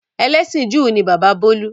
Ẹlẹ́sìn Júù ni bàbá bolu.